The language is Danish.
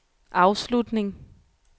afslutning